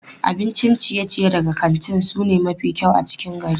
Abincin ciye-ciye daga kantin su ne mafi kyau a cikin gari.